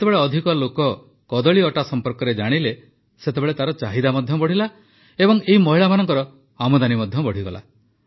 ଯେତେବେଳେ ଅଧିକ ଲୋକ କଦଳୀ ଅଟା ସମ୍ପର୍କରେ ଜାଣିଲେ ସେତେବେଳେ ତାର ଚାହିଦା ମଧ୍ୟ ବଢ଼ିଲା ଓ ଏହି ମହିଳାଙ୍କର ଆମଦାନୀ ମଧ୍ୟ ବଢ଼ିଗଲା